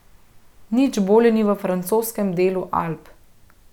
Nič bolje ni v francoskem delu Alp.